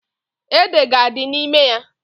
Ede ga-adị n'ime ya.